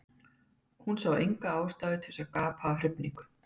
Hún sá enga ástæðu til að gapa af hrifningu.